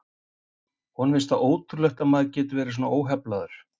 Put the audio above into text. Honum fannst það ótrúlegt að maður gæti verið svona óheflaður.